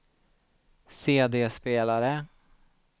CD-spelare